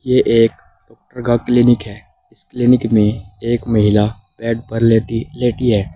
यह एक का क्लीनिक है इस क्लीनिक में एक महिला बेड पर लेटी लेटी है।